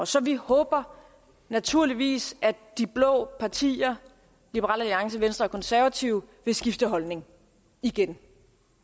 så vi håber naturligvis at de blå partier liberal alliance venstre konservative vil skifte holdning igen